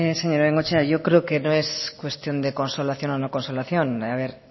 señora bengoechea yo creo que no es cuestión de consolación o no consolación a ver